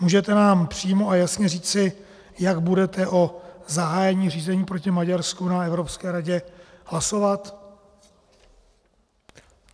Můžete nám přímo a jasně říci, jak budete o zahájení řízení proti Maďarsku na Evropské radě hlasovat?